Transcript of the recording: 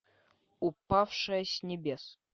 упавшая с небес